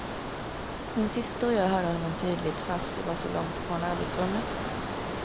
Min syster och jag hörde honom tydligt, fast vi var så långt ifrån arbetsrummet.